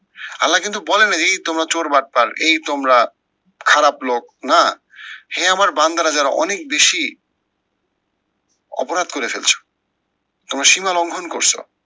আল্লা কিন্তু বলে নাই যে এই তোমরা চোর বাটপার এই তোমরা খারাপ লোক না, হে আমার বান্দারা যারা অনেক বেশি অপরাধ করে ফেলছো, তোমরা শিমা লঙ্ঘন করছো।